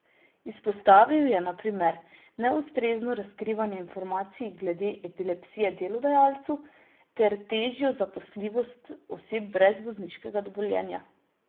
Izpostavil je na primer neustrezno razkrivanje informacij glede epilepsije delodajalcu ter težjo zaposljivost oseb brez vozniškega dovoljenja.